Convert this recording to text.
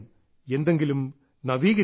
എന്തെങ്കിലും നവീകരിക്കണം